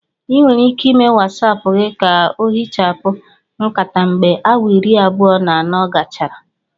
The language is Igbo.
Ị nwere ike ịme Watsapu gị ka ohichapụ nkata mgbe awa iri abụọ na anọ gachara